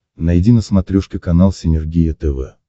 найди на смотрешке канал синергия тв